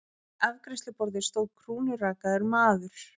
Við afgreiðsluborðið stóð krúnurakaður maður.